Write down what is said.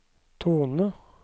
tone